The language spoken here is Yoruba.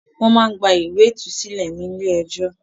Wọ́n máá ń gba ìwé ìtúsílẹ̀ ni ilé ẹjọ́